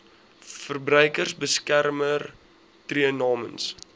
verbruikersbeskermer tree namens